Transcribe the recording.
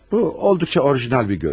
Bu olduqca orijinal bir görüş.